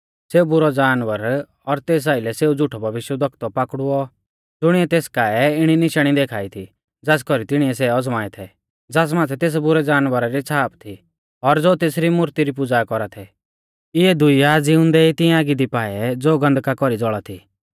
सेऊ बुरौ जानवर और तेस आइलै सेऊ झ़ुठौ भविष्यवक्ता पाकड़ुऔ ज़ुणिऐ तेस काऐ इणी निशाणी देखा ई थी ज़ास कौरी तिणिऐ सै अज़माऐ थै ज़ास माथै तेस बुरै जानवरा री छ़ाप थी और ज़ो तेसरी मूर्ती री पुज़ा कौरा थै इऐ दुइआ ज़िउंदै ई तिंआ आगी दी पाऐ ज़ो गन्धका कौरी ज़ौल़ा थी